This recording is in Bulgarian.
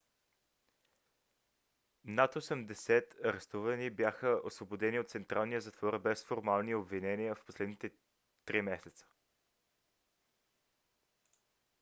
над 80 арестувани бяха освободени от централния затвор без формални обвинения в последните 3 месеца